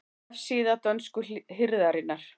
Vefsíða dönsku hirðarinnar